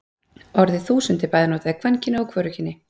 Orðið þúsund er bæði notað í kvenkyni og hvorugkyni.